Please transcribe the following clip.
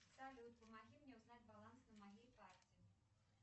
салют помоги мне узнать баланс на моей карте